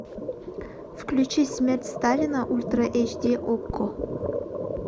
включи смерть сталина ультра эйч ди окко